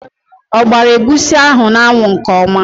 O gbara egwusi ahụ n'anwụ nke ọma?